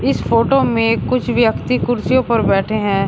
इस फोटो में कुछ व्यक्ति कुर्सियों पर बैठे हैं।